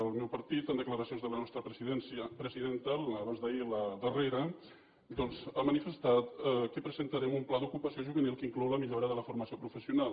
el meu partit en declaracions de la nostra presidenta abans d’ahir la darrera doncs ha manifestat que presentarem un pla d’ocupació juvenil que inclou la millora de la formació professional